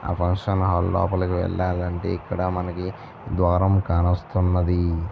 ఆ function hall లోపలకి వేళ్ళాలంటే ఇక్కడ మనకి ద్వారం కానొస్తున్నది.